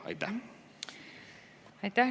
Aitäh!